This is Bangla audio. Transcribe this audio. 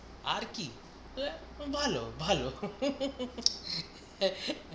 আর কি ভাল ভালো